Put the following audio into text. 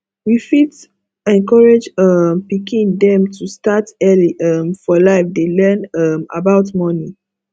we fit encourage um pikin dem to start early um for life dey learn um about money